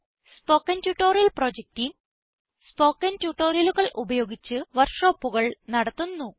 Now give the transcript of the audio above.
spoken tutorial project team spoken ട്യൂട്ടോറിയലുകൾ ഉപയോഗിച്ച് വർക്ക്ഷോപ്പുകൾ നടത്തുന്നു